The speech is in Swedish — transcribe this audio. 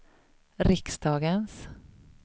riksdagens